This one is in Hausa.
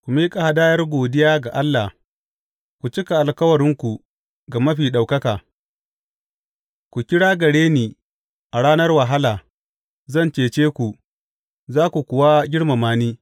Ku miƙa hadayar godiya ga Allah, ku cika alkawuranku ga Mafi Ɗaukaka, ku kira gare ni a ranar wahala; zan cece ku, za ku kuwa girmama ni.